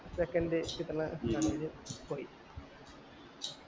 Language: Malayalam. second കിട്ട്ന്ന കടേല് പോയി